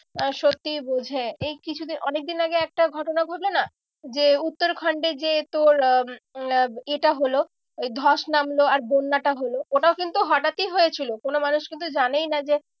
আহ সত্যি বোঝে এই কিছুদিন, অনেকদিন আগে একটা ঘটনা ঘটলো না যে উত্তরাখণ্ডে যে তোর আহ উম আহ এ টা হলো ওই ধস নামলো আর বন্যাটা হলো ওটাও কিন্তু হঠাৎ ই হয়েছিল কোনো মানুষ কিন্তু জানেই না যে